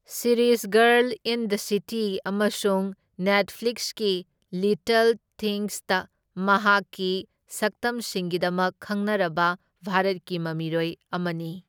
Series girl in the city ꯑꯃꯁꯨꯡ ꯅꯦꯠꯐ꯭ꯂꯤꯛꯁꯀꯤ little ꯊꯤꯡꯁꯇ ꯃꯍꯥꯛꯀꯤ ꯁꯛꯇꯝꯁꯤꯡꯒꯤꯗꯃꯛ ꯈꯪꯅꯔꯕ ꯚꯥꯔꯠꯀꯤ ꯃꯃꯤꯔꯣꯏ ꯑꯃꯅꯤ꯫